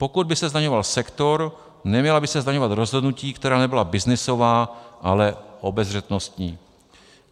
Pokud by se zdaňoval sektor, neměla by se zdaňovat rozhodnutí, která nebyla byznysová, ale obezřetnostní.